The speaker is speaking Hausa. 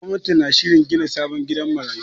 Gwamnati na shirin gina sabon gidan marayu.